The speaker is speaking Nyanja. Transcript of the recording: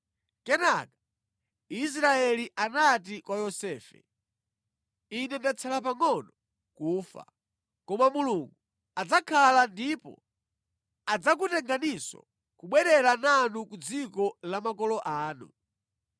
Kenaka Israeli anati kwa Yosefe, “Ine ndatsala pangʼono kufa, koma Mulungu adzakhala ndipo adzakutenganinso kubwerera nanu ku dziko la makolo anu.